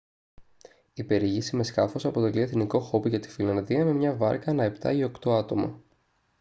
η περιήγηση με σκάφος αποτελεί εθνικό χόμπι για τη φινλανδία με μία βάρκα ανά επτά ή οκτώ άτομα